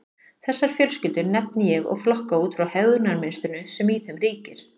Þessar fjölskyldur nefni ég og flokka út frá hegðunarmynstrinu sem í þeim ríkir.